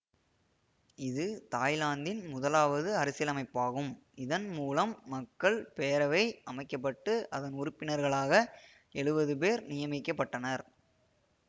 இது தாய்லாந்தின் முதலாவது அரசியலமைப்பாகும் இதன் மூலம் மக்கள் பேரவை அமைக்க பட்டு அதன் உறுப்பினர்களாக எழுபதுபேர் நியமிக்கப்பட்டனர்